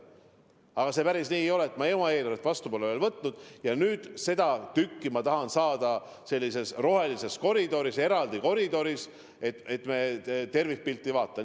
Aga päris nii ei ole, et ma oma eelarvet vastu pole veel võtnud ja nüüd äkki tahan saada seda tükki nagu sellises rohelises koridoris, eraldi koridoris, jättes tervikpildi vaatamata.